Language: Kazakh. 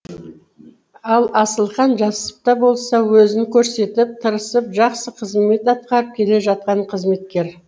ал асылхан жас та болса өзін көрсетіп тырысып жақсы қызмет атқарып келе жатқан қызметкер